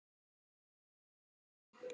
Jæja góða, segir hann.